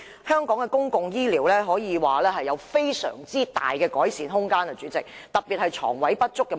香港的公共醫療可說尚有極大的改善空間，特別是床位不足的問題。